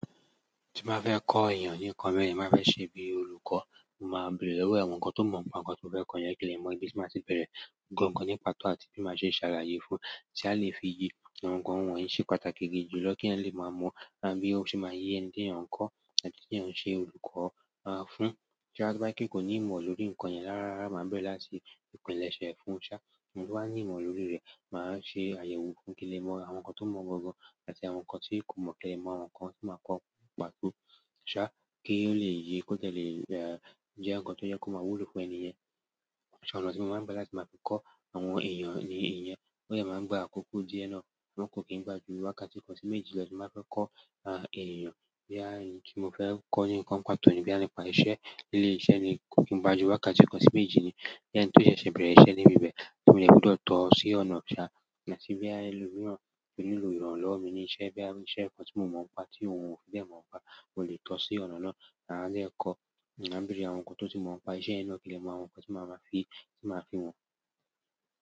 Tí bá fẹ́ kọ èèyàn ní nǹkan mi, má fẹ́ ṣe bí olùkọ́, máa bèrè lọ́wọ́ awọ́n nǹkan tó mọ̀ mọ́ ọ̀ kan tó fẹ́ kọ yẹn kí ó lè mọ ìbi máa ti bẹ̀rẹ̀, nǹkan tó pàtó àti bí máa ṣe ṣàlàyé fún tí a lè fi yí tí nǹkan wọ̀nyí ṣe pàtàkì gidi jùlọ kí ẹ́ lè mọ̀ mọ́ bí ó ṣe máa yé ń dín èèyàn kọ́ àti bí èèyàn ṣe olùkọ́, à, fún. Tí a bá kíkó ní ìmọ̀ lórí nǹkan yẹn ràràra máa bẹ̀rẹ̀ láti ìpínlẹ̀ṣẹ fún ṣá. Òun tó bá ní ìmọ̀ lórí rẹ̀ máa ṣe àyẹ̀wò fún kí ó lè mọ àwọn nǹkan tó mọ̀ gangan àti àwọn nǹkan tí kò mọ̀ tẹ́lẹ̀ mọ́ àwọn nǹkan tí máa kọ́ pàtó ṣá kí ó lè yí kó dẹ̀lẹ̀, e, ń jẹ́ nǹkan tó jẹ́ kó máa wúlò fún ẹni yẹn. Àwọn ọ̀nà ti mo máà n gbà láti ma fi ko àwọn èèyàn niyen. Bóyá máa ń gba àkókò díẹ̀ náà ṣùgbọ́n kò kí n gba jú. Wákàtí kan sí méjì lọ tí má fẹ́ kọ́, a, èèyàn. Bí a ní kí mo fẹ́ kọ́ ní nǹkan pàtó ni bí a ní pa iṣẹ́ nílé iṣẹ́ ni kò kí n gbajú. Wákàtí kan sí méjì ni bí ẹni tó ṣẹ̀ṣẹ̀ bẹ̀rẹ̀ iṣẹ́ níbi bẹ́ẹ̀ tí mo dè gbudọ tọ̀ ọ́ sí ọ̀nà ṣá àti bí ẹlòmíràn pẹ̀lú ìrànlọ́wọ́ mi ní iṣẹ́ bí a ní iṣẹ́ nǹkan tí mo mọ̀ mọ́ ọ́n pa tí mò mò fi bẹ́ẹ̀ mọ̀ mọ́ ọ́n pa. Mo lè tọ́ ọ́ sí ọ̀nà náà mádé kọ́ mábẹ́rẹ́ àwọn nǹkan tó ti mọ̀ mọ́ ọ́n pa iṣẹ́ iná kí ó lè mọ àwọn nǹkan tí màá máa fi, tí màá fi han.